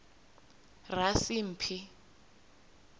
rasimphi